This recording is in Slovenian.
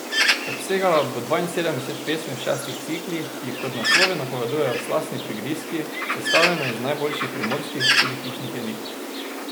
Obsegala bo dvainsedemdeset pesmi v šestih ciklih, ki jih kot naslovi napovedujejo slastni prigrizki, sestavljeni iz najljubših primorskih, tudi hišnih jedi.